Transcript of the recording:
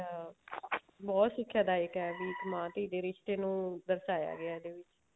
ਅਮ ਬਹੁਤ ਸਿੱਖਿਆ ਦਾਇਕ ਹੈ ਇੱਕ ਮਾਂ ਧੀ ਦੇ ਰਿਸ਼ਤੇ ਨੂੰ ਦਰਸਾਇਆ ਗਿਆ ਇਹਦੇ ਵਿੱਚ